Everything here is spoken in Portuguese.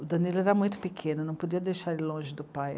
O Danilo era muito pequeno, eu não podia deixar ele longe do pai.